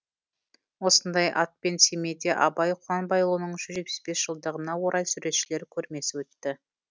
осындай атпен семейде абай құнанбайұлының жүз жетпіс бес жылдығына орай суретшілер көрмесі өтті